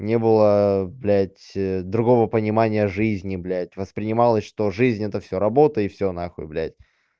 не было блять другого понимание жизни блять воспринималось что жизнь это всё работа и всё нахуй блять